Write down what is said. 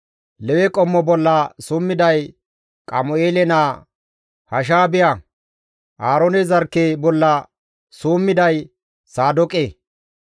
Lewe qommo bolla summiday Qamu7eele naa Hashaabiya. Aaroone zarkke bolla summiday Saadooqe.